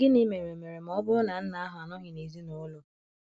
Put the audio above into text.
Gịnị mere mere ma ọ bụrụ na nna ahụ anọghị n' ezinụlọ?